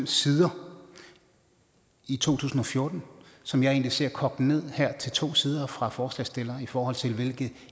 sider i to tusind og fjorten som jeg egentlig ser kogt ned til to sider her fra forslagsstilleren i forhold til hvilke